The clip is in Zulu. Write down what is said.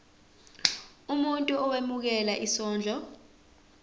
umuntu owemukela isondlo